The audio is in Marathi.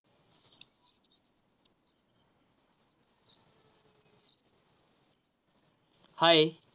Hi